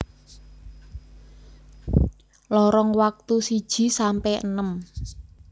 Lorong Waktu siji sampe enem